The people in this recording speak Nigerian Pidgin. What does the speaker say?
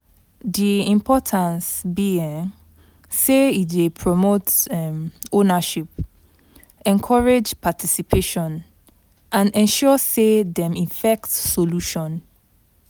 Di importance be um say e dey promote um ownership, encourage participation and ensure say dem effect solution.